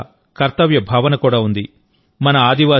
పర్యావరణం పట్ల కర్తవ్య భావన కూడా ఉంది